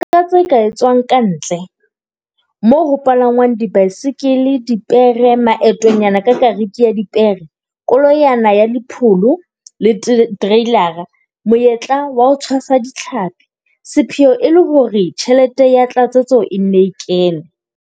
Eketsa tse ka etswang ka ntle - moo ho palangwang dibaesekele, dipere, maetonyana ka kariki ya dipere, koloyana ya dipholo le tereilara, monyetla wa ho tshwasa ditlhapi - sepheo e le hore tjhelete ya tlatsetso e nne e kene.